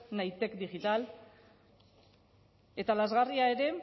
nahitek digital eta lazgarria ere